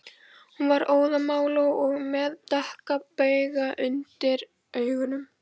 Hún var óðamála og með dökka bauga undir augunum